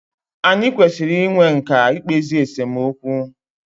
Anyị kwesịrị i nwe nkà i kpezi esemokwu.